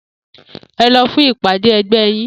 E̩ lo̩ fún ìpàdé e̩gbé yín!